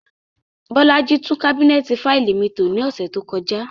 Bolaji tun kabinẹti faili mi to ni ọsẹ to kọja.